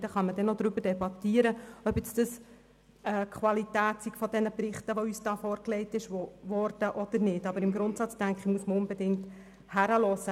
Man kann über die Qualität der vorgelegten Berichte debattieren, aber im Grundsatz sollte man unbedingt hinhören.